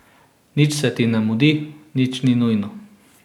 Nič se ti ne mudi, nič ni nujno.